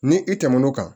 Ni i tɛmɛn'o kan